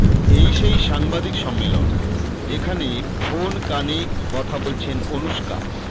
এই সেই সাংবাদিক সম্মেলন যেখানে ফোন কানে কথা বলছেন অনুষ্কা